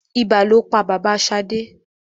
Ibà lo pa bàbá Ṣadé.